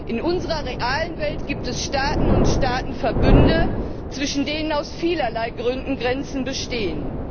In unserer realen Welt gibt es Staaten und Staatenverbünde, zwischen denen aus vielerlei Gründen Grenzen bestehen.